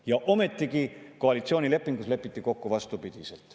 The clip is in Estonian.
Ja ometigi koalitsioonilepingus lepiti kokku vastupidiselt.